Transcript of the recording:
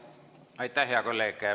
Aitäh, hea kolleeg!